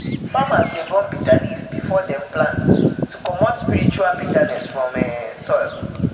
farmers dey burn bitterleaf before dem plant to comot spiritual bitterness from from soil.